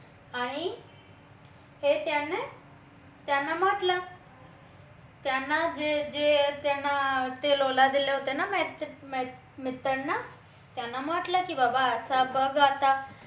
आणि हे त्यांना त्यांना म्हटलं त्यांना जे त्यांना ते लोला दिले होते ना मित्रांना त्यांना म्हटलं की बाबा असा कसा आता